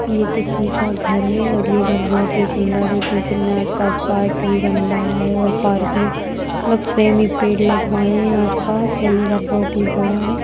ये किसी का घर है और ये घर बहुत ही सुंदर है क्यूंकि इनमें आस पास पार्क भी बनवाया है और पार्क में मतलब सेम ही पेड़ लगवाये हैं आस पास और ये घर बहुत ही बड़ा है।